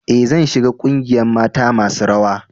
E,zan shiga ƙungiyan mata masun rawa.